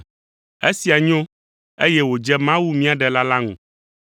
Esia nyo, eye wòdze Mawu mía Ɖela la ŋu.